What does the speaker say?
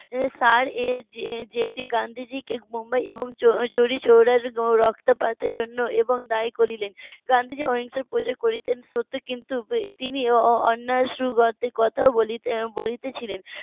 . গান্ধীজিকে মুম্বাই এবং চোরিচৌরার রক্তপাতের জন্য এবং দায়ী করিলেন গান্ধীজি অহিংসার প্রচার করিতেন সত্য। কিন্তু তিনি অন্যায়ের বলিতেছিলেন